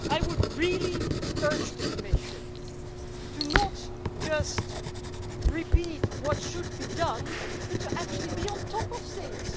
I would really urge the Commission not just to repeat what should be done, but actually to be on top of things.